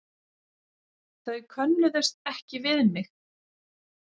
Þau könnuðust ekki við mig.